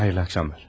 Xeyirli axşamlar.